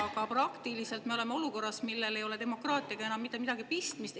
Aga praktiliselt me oleme olukorras, millel ei ole demokraatiaga enam mitte midagi pistmist.